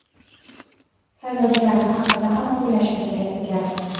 Saylovchilarim haqida ham o‘ylashim kerak ekan.